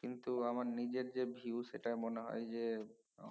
কিন্তু আমার নিজে যে view সেটা মনে হয় যে